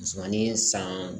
Musomanin san